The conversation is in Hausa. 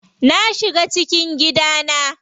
Na shiga cikin gidana.